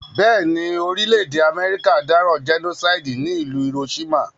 Béèni, orílẹ̀dè America dáràn genocide ní ìlú Hiroshima